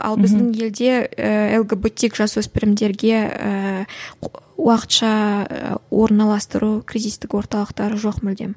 ал біздің елде ііі лгбтик жасөспірімдерге ііі уақытша і орналастыру кризистік орталықтар жоқ мүлдем